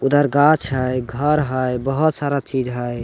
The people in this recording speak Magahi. उधर गाछ है घर है बोहोत सारा चीज है ।